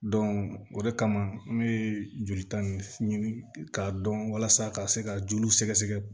o de kama an bɛ jolita ninnu ɲini k'a dɔn walasa ka se ka joliw sɛgɛsɛgɛ